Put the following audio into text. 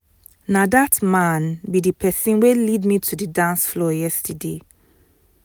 na dat man be the person wey lead me to the dance floor yesterday